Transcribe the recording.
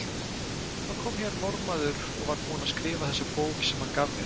Það kom hér Norðmaður og var búinn að skrifa þessa bók sem hann gaf mér.